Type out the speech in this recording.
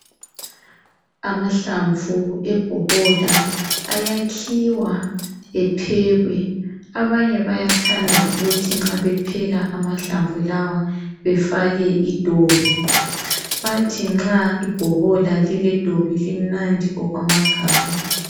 Amahlamvu awebhokola awakhiwa ephekwe abanye bayathand ukuthi nxa bepheka amahlamvu lawa bafake idobi bathi nxa ibhokola lile dobi limnandi okwamagama